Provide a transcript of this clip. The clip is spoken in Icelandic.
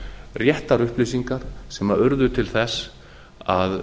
réttar upplýsingar sem urðu til þess að